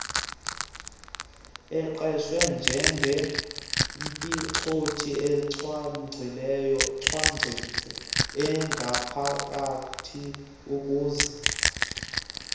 eqeshwe njengomphicothi zincwadiweencwadiwangaphakathiukuze